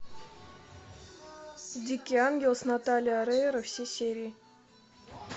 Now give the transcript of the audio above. дикий ангел с натальей орейро все серии